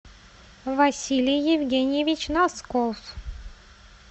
василий евгеньевич носков